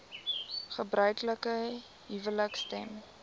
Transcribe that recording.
gebruiklike huwelike stem